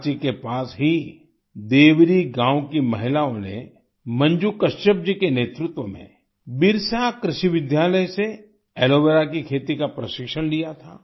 रांची के पास ही देवरी गाँव की महिलाओं ने मंजू कच्छप जी के नेतृत्व में बिरसा कृषि विद्यालय से एलोवेरा की खेती का प्रशिक्षण लिया था